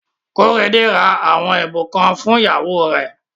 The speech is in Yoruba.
Kóredé ra àwọn ẹ̀bùn kan fún ìyàwó rẹ̀.